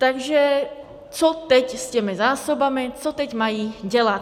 Takže co teď s těmi zásobami, co teď mají dělat?